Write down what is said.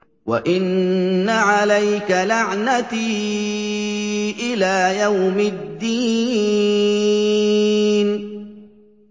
وَإِنَّ عَلَيْكَ لَعْنَتِي إِلَىٰ يَوْمِ الدِّينِ